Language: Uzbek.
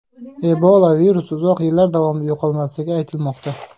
Ebola virusi uzoq yillar davomida yo‘qolmasligi aytilmoqda.